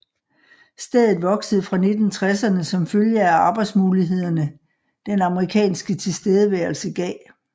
Stedet voksede fra 1960erne som følge af arbejdsmulighederne den amerikanske tilstedeværelsen gav